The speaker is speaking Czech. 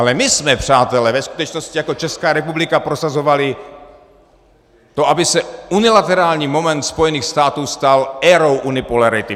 Ale my jsme, přátelé, ve skutečnosti jako Česká republika prosazovali to, aby se unilaterální moment Spojených států stal érou unipolarity.